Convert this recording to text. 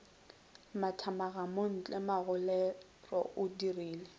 mathamaga montle magolego o dirile